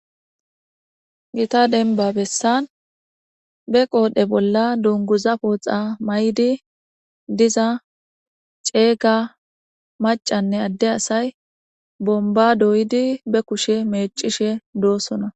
gita denba bessan be qoodhe bolla dunguza pooxa may7di diza ceeyga macanne adde asay bomba doydi be kushe mecishe doosona